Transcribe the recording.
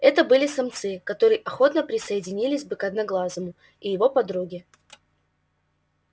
это были самцы которые охотно присоединились бы к одноглазому и его подруге